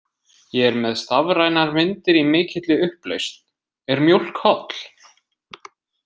Ég er með stafrænar myndir í mikilli upplausn. Er mjólk holl?